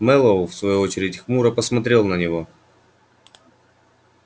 мэллоу в свою очередь хмуро посмотрел на него